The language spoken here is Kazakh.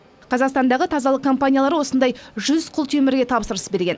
қазақстандағы тазалық компаниялары осындай жүз құлтемірге тапсырыс берген